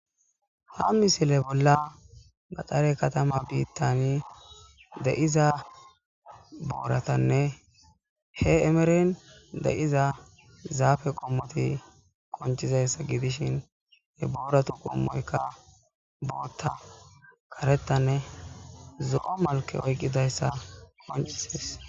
Ha misile bolla vacate katama bittani de'za boratanne he emeren de'iza zaafe qommoti qonc'izaysi gidishin he booratu qommoyka bootha, karethanne zo'o gididaysa qonc'isses.